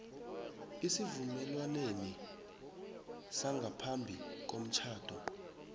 esivumelwaneni sangaphambi komtjhado